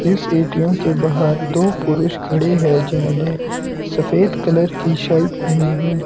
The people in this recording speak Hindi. इस ए_टी_एम के बाहर दो पुरुष खड़े हैं जिन्होंने सफेद कलर की शर्ट पहनी है।